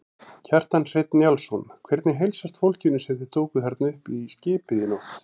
Kjartan Hreinn Njálsson: Hvernig heilsast fólkinu sem þið tókuð þarna upp í skipið í nótt?